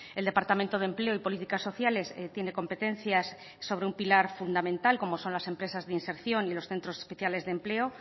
el departamento de empleo y políticas sociales tiene competencias sobre un pilar fundamental como son las empresas de inserción y los centros especiales de empleo